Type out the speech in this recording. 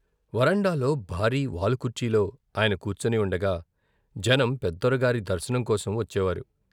వరండాలో భారీ వాలుకుర్చీలో ఆయన కూర్చుని ఉండగా జనం పెద్దొర గారి దర్శనం కోసం వచ్చేవారు.